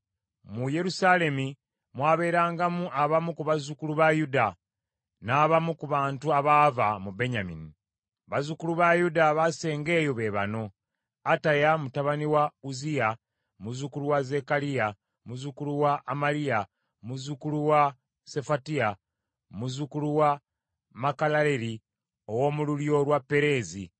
Mu Yerusaalemi mwabeerangamu abamu ku bazzukulu ba Yuda, n’abamu ku bantu abaava mu Benyamini. Bazzukulu ba Yuda abaasenga eyo be bano: Ataya mutabani wa Uzziya, muzzukulu wa Zekkaliya, muzzukulu wa Amaliya, muzzukulu wa Sefatiya, muzzukulu wa Makalaleri, ow’omu lulyo lwa Pereezi;